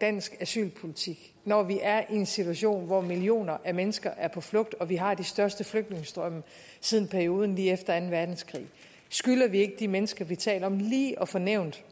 dansk asylpolitik når vi er i en situation hvor millioner af mennesker er på flugt og vi har de største flygtningestrømme siden perioden lige efter anden verdenskrig skylder vi ikke de mennesker vi taler om lige at få nævnt